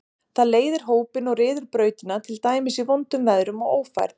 Það leiðir hópinn og ryður brautina, til dæmis í vondum veðrum og ófærð.